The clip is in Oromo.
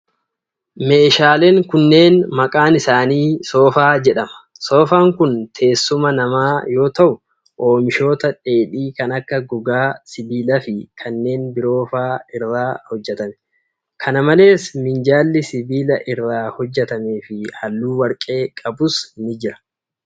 Meeshaaleen kunneen maqaan isaanii soofaa jedhama. Soofaan kun teessuma namaa yoo ta'u, oomishoota dheedhii kan akka gogaa, sibiila fi kanneen biroo faa irraa hojjatame. Kana malees, minjaalli sibiila irraa hojjatamee fi haalluu warqee qabus ni jira.